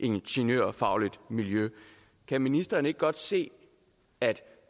ingeniørfagligt miljø kan ministeren ikke godt se at